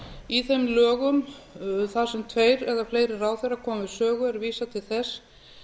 í þeim lögum þar sem tveir eða fleiri ráðherrar koma við sögu er vísað til þess